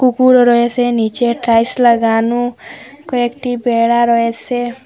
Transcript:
কুকুরও রয়েসে নীচে টাইস লাগানো কয়েকটি বেড়া রয়েসে ।